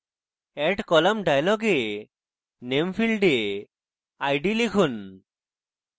add column dialog name ফীল্ডে id লিখুন